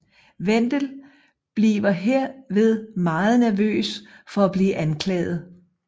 Wendel bliver herved meget nervøs for at blive anklaget